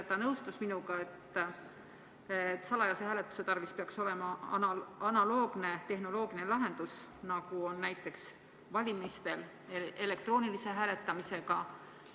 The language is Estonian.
Ta nõustus minuga, et salajase hääletuse tarvis peaks olema analoogne tehnoloogiline lahendus, nagu on näiteks valimistel elektroonilise hääletamise puhul.